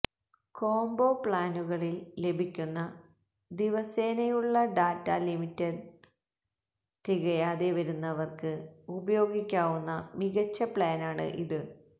combo പ്ലാനുകളിൽ ലഭിക്കുന്ന ദിവസേനയുള്ള ഡാറ്റ ലിമിറ്റ് തികയാതെ വരുന്നവർക്ക് ഉപയോഗിക്കാവുന്ന മികച്ച പ്ലാനാണ് ഇത്